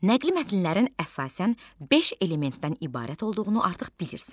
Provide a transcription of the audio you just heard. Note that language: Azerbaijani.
Nəqli mətnlərin əsasən beş elementdən ibarət olduğunu artıq bilirsən.